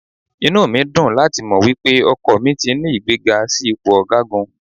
Inú mi dùn láti mọ̀ wípé ọkọ mi ti ní ìgbéga sí ipò ọ̀gágun.